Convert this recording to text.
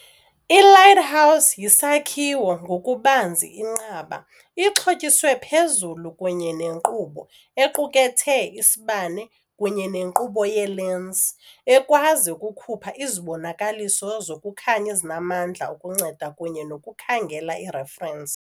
I-lighthouse yisakhiwo, ngokubanzi inqaba, ixhotyiswe phezulu kunye nenkqubo, equkethe isibane kunye nenkqubo yeelensi, ekwazi ukukhupha izibonakaliso zokukhanya ezinamandla ukunceda kunye nokukhangela ireferensi.